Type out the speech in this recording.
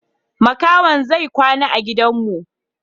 Makahon zai kwana a gidan mu.